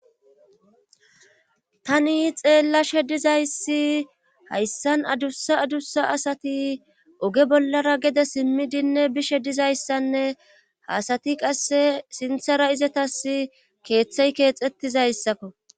Tani xeellashe dizayssi hayssan adussa adussa asati oge bollara gede simmidinne bishe dizayssanne haasati qasse sinthara izetas keeththey keexettizayssakko.